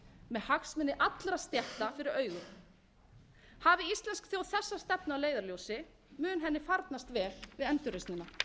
með hagsmuni allra stétta fyrir augum hafi íslensk þjóð þessa stefnu að leiðarljósi mun henni farnast vel við endurreisnina